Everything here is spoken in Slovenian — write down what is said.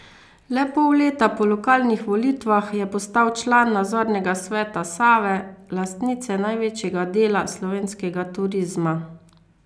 Le pol leta po lokalnih volitvah je postal član nadzornega sveta Save, lastnice največjega dela slovenskega turizma.